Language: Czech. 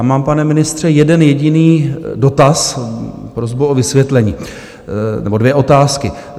A mám, pane ministře, jeden jediný dotaz, prosbu o vysvětlení nebo dvě otázky.